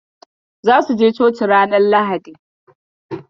Zasu je coci ranar Lahadi.